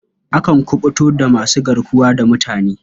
Akan kuɓuto daga masu garkuwa da mutane.